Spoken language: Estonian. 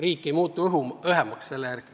Riik ei muutu selle peale õhemaks.